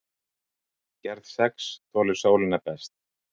gerð sex þolir sólina best